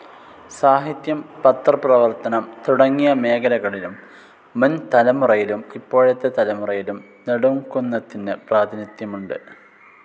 സാഹിത്യം, പത്രപ്രവർത്തനം തുടങ്ങിയ മേഖലകളിലും മുൻ തലമുറയിലും ഇപ്പോഴത്തെ തലമുറയിലും നെടുംകുന്നത്തിന്‌ പ്രാതിനിധ്യമുണ്ട്‌.